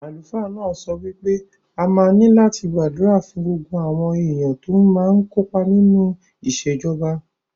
Àlùfáà náà sọ wí pé a máa ní láti gbàdúrà fún gbogbo àwọn èèyàn tó máa kó pa nínú ìṣèjọba